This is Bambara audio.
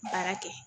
Baara kɛ